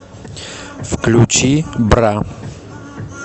включи бра